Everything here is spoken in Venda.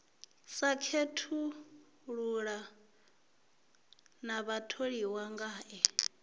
sa khethulula na vhatholiwa ngae